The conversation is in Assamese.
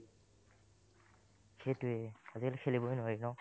সেইটোয়ে, আজিকালি খেলিবই নোৱৰি একদম